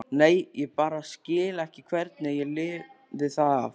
Nei, ég bara skil ekki hvernig ég lifði það af.